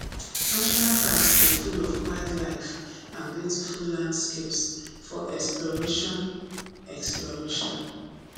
national parks dey full of wildlife and beautiful landscapes for exploration exploration